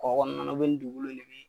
Kɔ kɔnɔna na ni dugukolo de be yen.